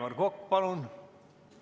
Aivar Kokk, palun!